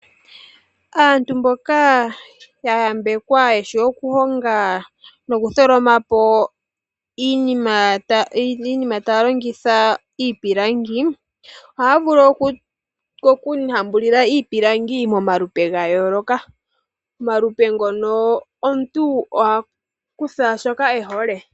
Aantu mboka ya yambekwa yeshi okuhonga nokutholoma po iinima taya longitha iipilangi, ohaya vulu okuhambulila iipilangi momalupe ga yooloka. Omalupe ngono omuntu oha kutha shoka ehole.